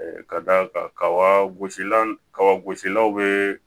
Ka d'a kan kaba gosilan kaba gosililaw bɛ